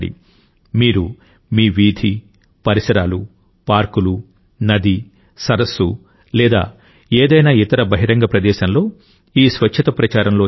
మీరు మీ వీధి పరిసరాలు పార్కులు నది సరస్సు లేదా ఏదైనా ఇతర బహిరంగ ప్రదేశంలో ఈ స్వచ్ఛత ప్రచారంలో చేరవచ్చు